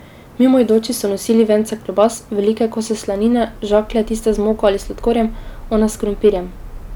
Mimoidoči so nosili vence klobas, velike kose slanine, žaklje, tiste z moko ali sladkorjem, one s krompirjem.